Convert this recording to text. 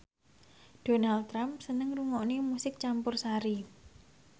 Donald Trump seneng ngrungokne musik campursari